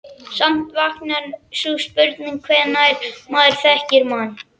Samt vaknar sú spurning hvenær maður þekkir mann.